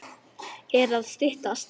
Er að styttast?